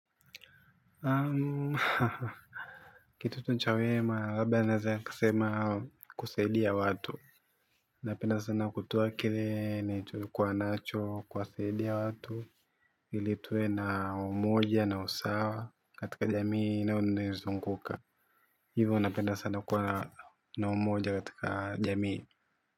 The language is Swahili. Kitu tu nchawema, labda naeza kasema kusaidia ya watu. Napenda sana kutoa kile, nilichokuwa nacho, kuwasaidia ya watu, ilitue na umoja na usawa katika jamii na eneo nizunguka. Hivyo napenda kuwa na umoja katika jamii.